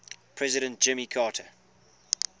president jimmy carter